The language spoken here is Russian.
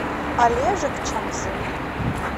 олежек чамзын